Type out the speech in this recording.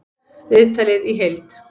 Viðtalið í heild